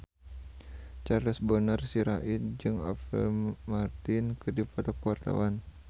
Charles Bonar Sirait jeung Apple Martin keur dipoto ku wartawan